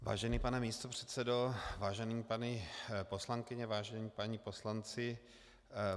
Vážený pane místopředsedo, vážené paní poslankyně, vážení páni poslanci.